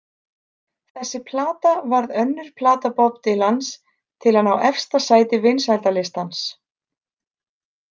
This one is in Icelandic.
Þessi plata varð önnur plata Bob Dylans til að ná efsta sæti vinsældalistans.